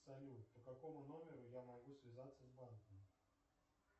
салют по какому номеру я могу связаться с банком